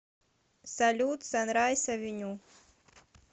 салют санрайс авеню